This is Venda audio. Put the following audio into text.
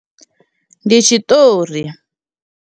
Ndi tshiṱori.